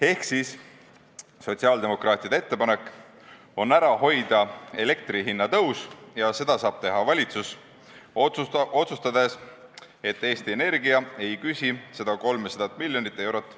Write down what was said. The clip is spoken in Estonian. Ehk siis, sotsiaaldemokraatide ettepanek on hoida ära elektrihinna tõus ja seda saab teha valitsus, otsustades, et Eesti Energia ei küsi inimeste käest seda 300 miljonit eurot.